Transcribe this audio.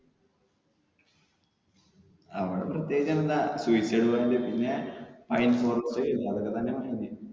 അവിടെ പ്രത്യേകിച്ച് എന്താ suicide point പിന്നെ പൈൻ forest അതൊക്കെ തന്നെ